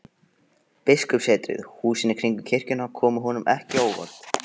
Biskupssetrið, húsin í kringum kirkjuna, komu honum ekki á óvart.